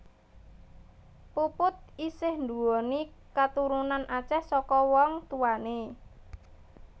Puput isih nduwéni katurunan Aceh saka wong tuwané